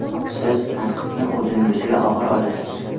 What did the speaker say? Siz tanqidni o‘zingizga og‘ir olasiz.